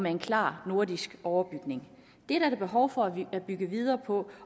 en klar nordisk overbygning det er der behov for at bygge videre på